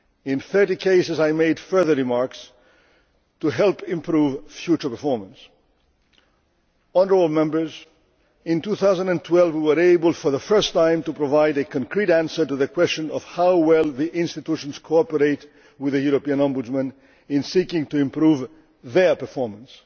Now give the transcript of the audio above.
In 30 cases I made further remarks to help improve future performance. In 2012 we were able for the first time to provide a concrete answer to the question of how well the institutions cooperate with the European Ombudsman in seeking to improve their performance.